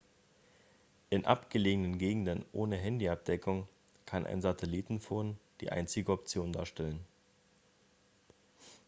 in abgelegenen gegenden ohne handy-abdeckung kann ein satellitentelefon die einzige option darstellen